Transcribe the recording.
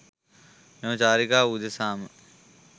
මෙම චාරිකාව උදෙසාම